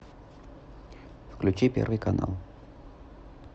включи первый канал